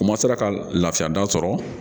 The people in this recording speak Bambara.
U masara ka lafiya da sɔrɔ